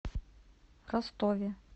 ростове